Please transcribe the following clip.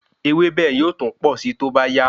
Ewébẹ̀ yóò tún posi toba ya